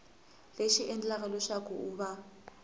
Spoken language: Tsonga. lexi endlaka leswaku ku va